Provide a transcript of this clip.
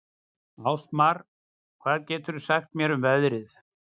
Ásmar, hvað geturðu sagt mér um veðrið?